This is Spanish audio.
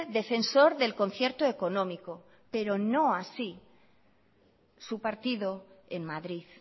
defensor del concierto económico pero no así su partido en madrid